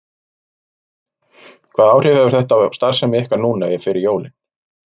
Róbert: Hvaða áhrif hefur þetta á ykkar starfsemi núna fyrir jólin?